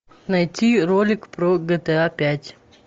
найти ролик про гта пять